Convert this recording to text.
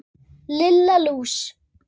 Lilla lús!